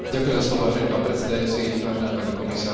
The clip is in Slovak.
Chcel by som poďakovať pani Wallis, je to odvážny krok.